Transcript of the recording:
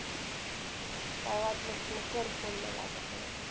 काय वाटलंच तर कर phone मला आता परत.